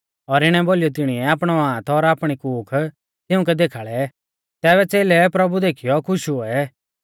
और इणै बोलीयौ तिणीऐ आपणौ हाथ और आपणी कूख तिउंकै देखाल़ै तैबै च़ेलै प्रभु देखीयौ खुश हुऐ